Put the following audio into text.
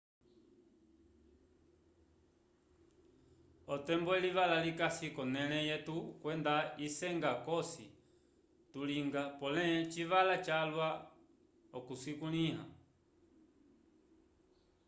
otembo elivala likasi k'onẽle yetu kwenda isenga cosi tulinga pole civala calwa okucikulĩha